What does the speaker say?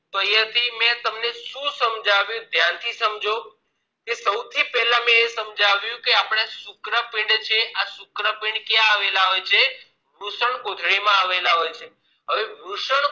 તો અહિયાં થી મેં તમને શું સમજાવ્યું ધ્યાનથી સમજો સૌથી પેલા મેં એ સમજાવ્યું કે શુક્રપીંડ છે એ શુક્રપીંડ ક્યાં આવેલા હોય છે વૃષણકોથળી આવેલા હોય છે